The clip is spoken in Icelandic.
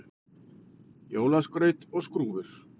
Jólaskraut og skrúfur